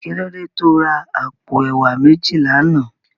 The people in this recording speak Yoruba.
Kilódé tó rá àpó èwá méji làná?